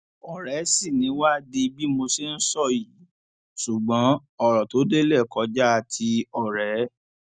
ọrẹ sì ni wá di bí mo ṣe ń sọ yìí ṣùgbọn ọrọ tó délé kọjá ti ọrẹ